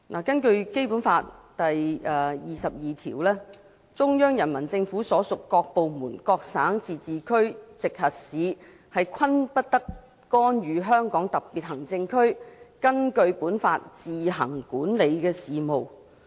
根據《基本法》第二十二條，中央人民政府所屬各部門、各省、自治區、直轄市均不得干預香港特別行政區根據本法自行管理的事務。